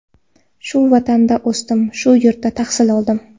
Shu vatanda o‘sdim, shu yurtda tahsil oldim.